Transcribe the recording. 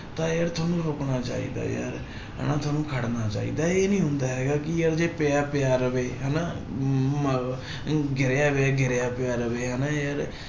ਤਾਂ ਯਾਰ ਤੁਹਾਨੂੰ ਰੁੱਕਣਾ ਚਾਹੀਦਾ ਯਾਰ ਹਨਾ ਤੁਹਾਨੂੰ ਖੜਨਾ ਚਾਹੀਦਾ, ਇਹ ਨੀ ਹੁੰਦਾ ਹੈਗਾ ਕਿ ਯਾਰ ਜੇ ਪਿਆ ਪਿਆ ਰਵਾ ਹਨਾ ਮ ਗਿਰਿਆ ਹੋਇਆ ਗਿਰਿਆ ਪਿਆ ਰਵੇ ਹਨਾ ਯਾਰ।